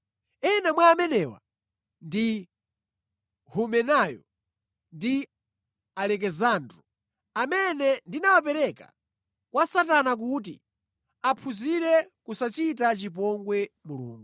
Ena mwa amenewa ndi Humenayo ndi Alekisandro, amene ndinawapereka kwa Satana kuti aphunzire kusachita chipongwe Mulungu.